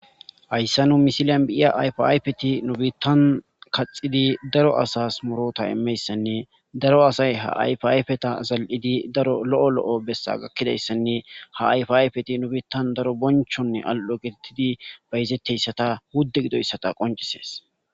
Hayssa nuni missilen be'iya ayfa ayifeti nu biittan kaxxidi daaro asas muurutta immiyayssane daaro asay ha ayfa ayfeta zali'ddi daaro lo'o lo'o bessa gakidayssane nu biittan daaro bonchchonne ali'oo gettetidi bayzetizayttako.